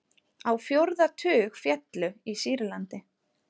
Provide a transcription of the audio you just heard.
Á fjórða tug féllu í Sýrlandi